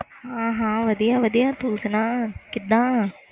ਹਾਂ ਹਾਂ ਵਧੀਆ ਸੁਣਾ ਕੀਦਾ